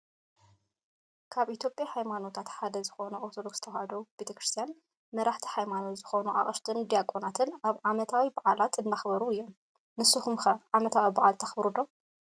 ኣብ ኢትዮጵያ ሃይማኖታት ሓደ ዝኮነ ኦርቶዶክስ ተዋህዶ ክርስትያን መራሕቲ ሃይማኖት ዝኮኑ ኣቅሽሽትን ዲያቆናትን ኣብ ዓመታዊ ባዓል እንዳክበሩ እዮም። ንስኩም ከ ዓመታዊ ባዓል ተክብሩ ዶ ?